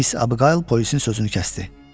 Miss Abqayl polisin sözünü kəsdi.